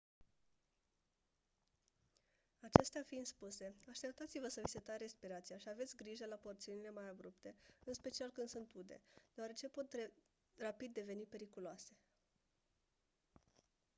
acestea fiind spuse așteptați-vă să vi se taie respirația și aveți grijă la porțiunile mai abrupte în special când sunt ude deoarece pot rapid deveni periculoase